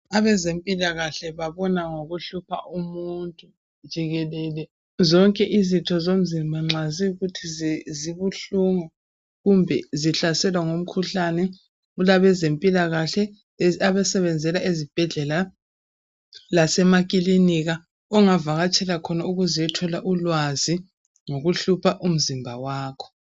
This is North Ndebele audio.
Abezempalakahle babona ngokuhlupha umuntu jikelele. Zonke izitho zomzimba nxa ziyikuthi zibuhlungu kumbe zihlaselwa ngumkhuhlane kulabezempilakahle abasebenzela ezibhedlela lasemakilinika ongavakatshela khona ukuze uyethola ulwazi ngokuhlupha umzimba wakho